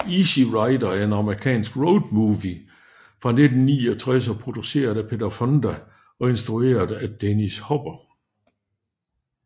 Easy Rider er en amerikansk road movie fra 1969 produceret af Peter Fonda og instrueret af Dennis Hopper